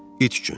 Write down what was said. İt üçün.